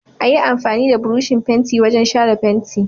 Ayi amfani da burushin fenti wajan shara fenti